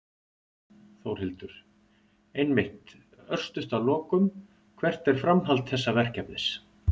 Þórhildur: Einmitt, örstutt að lokum, hvert er framhald þessa verkefnis?